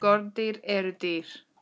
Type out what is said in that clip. Skordýr eru dýr.